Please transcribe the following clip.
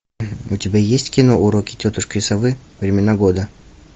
у тебя есть кино уроки тетушки совы времена года